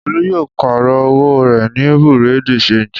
Olú yóò pààrọ̀ owó rẹ̀ ní bureau de change.